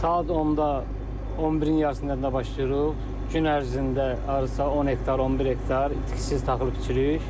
Saat 10-da 11-in yarısına qədər başlayırıq, gün ərzində hardasa 10 hektar, 11 hektar itkisiz taxıl biçirik.